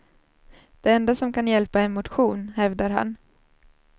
Det enda som kan hjälpa är motion, hävdar han.